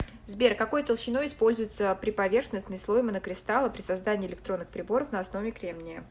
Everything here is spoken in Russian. сбер какой толщиной используется приповерхностный слой монокристалла при создании электронных приборов на основе кремния